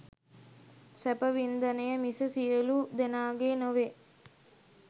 සැප වින්දනය මිස සියලු දෙනාගේ නොවේ.